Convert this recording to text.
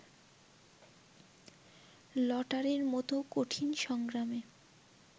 লটারির মতো কঠিন সংগ্রামে